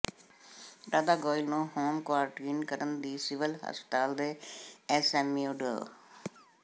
ਰਾਧਾ ਗੋਇਲ ਨੂੰ home quarantine ਕਰਨ ਦੀ ਸਿਵਲ ਹਸਪਤਾਲ ਦੇ ਐੱਸਐੱਮਓ ਡਾ